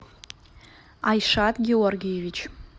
айшат георгиевич